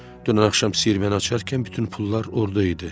Dünən axşam siyirməni açarkən bütün pullar orda idi.